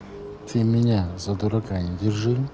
ты меня за дурака не держи